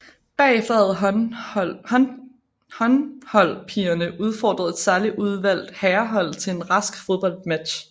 Bagefter havde håndholdpigerne udfordret et særligt udvalgt herrehold til en rask fodboldmatch